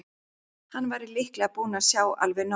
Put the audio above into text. Hann væri líklega búinn að sjá alveg nóg.